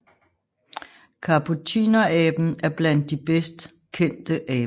Kapucineraben er blandt de bedst kendte aber